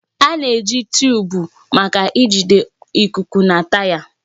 A na-eji tuụbu maka ijide ikuku na taya.